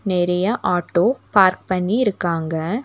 நெறைய auto park பண்ணியிருக்காங்க.